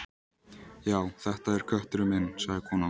Já, þetta er kötturinn minn sagði konan.